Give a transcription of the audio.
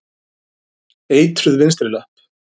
Eitruð vinstri löpp.